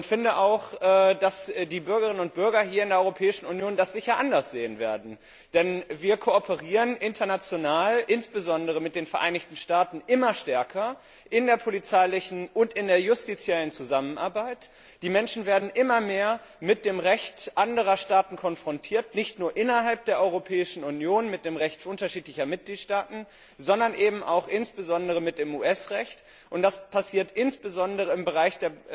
Und ich finde auch, dass die Bürgerinnen und Bürger hier in der Europäischen Union das sicher anders sehen werden, denn wir kooperieren international, insbesondere mit den Vereinigten Staaten, immer stärker im Rahmen der polizeilichen und der justiziellen Zusammenarbeit, die Menschen werden immer mehr mit dem Recht anderer Staaten konfrontiert, nicht nur innerhalb der Europäischen Union mit dem Recht unterschiedlicher Mitgliedstaaten, sondern eben auch insbesondere mit dem US Recht. Und das passiert insbesondere im Bereich